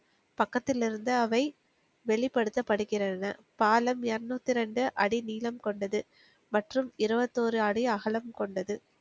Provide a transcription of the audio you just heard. பக்கத்தில் இருந்து அவை வெளிப்படுத்தப்படுகிறது பாலம் இருநூத்தி ரெண்டு அடி நீளம் கொண்டது மற்றும் இருபத்தொரு அடி அகலம் கொண்டது